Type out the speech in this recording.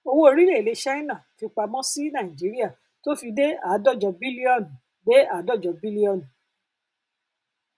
owó orílẹèdè china fipamọ sí nàìjíríà tó fi dé àádọjọ bílíọnù dé àádọjọ bílíọnù